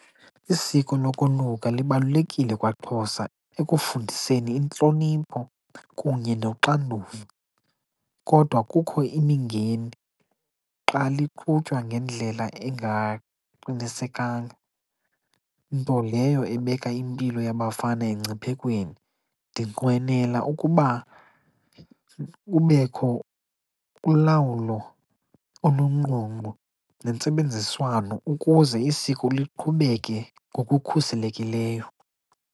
Isiko lokoluka libalulekile kwaXhosa ekufundiseni intlonipho kunye noxanduva kodwa kukho imingeni xa liqhutywa ngendlela engaqinisekanga, nto leyo ebeka impilo yabafana engciphekweni. Ndinqwenela ukuba kubekho ulawulo olungqongqo nentsebenziswano ukuze isiko liqhubeke ngokukhuselekileyo.